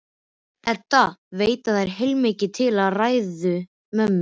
Edda veit að það er heilmikið til í ræðu mömmu.